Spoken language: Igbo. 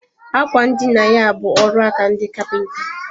Àkwà ndina ya bu ọrụaka ndị kapinta